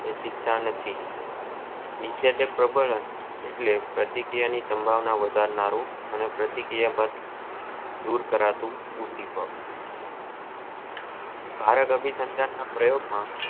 એક શિક્ષા નથી નીસદત પ્રબંન એટલે પ્રતિ ક્રિયા ની સંભાવના વધારાનું પ્રતિ ક્રિયા બાદ દૂર કરતુ પ્રયોગ માં